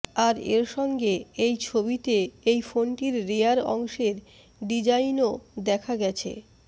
আর এর সঙ্গে এই ছবিতে এই ফোনটির রেয়ার অংশের ডিজাইনও দেখা গেছে